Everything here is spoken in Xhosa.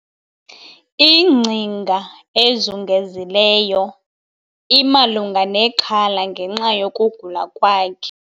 Ingcinga ezungezileyo imalunga nexhala ngenxa yokugula kwakhe